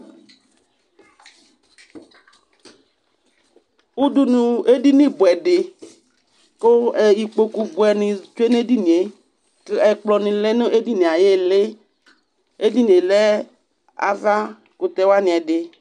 Udunu edini bʋɛ dɩ kʋ ɛ ikpoku bʋɛnɩ tsue nʋ edini yɛ kʋ ɛkplɔnɩ lɛ nʋ edini yɛ ayʋ ɩɩlɩ Edini yɛ avakʋtɛ wanɩ ɛdɩ